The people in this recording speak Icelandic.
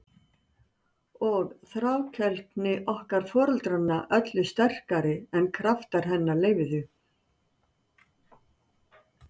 Og þrákelkni okkar foreldranna öllu sterkari en kraftar hennar leyfðu.